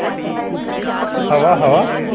हवा हवा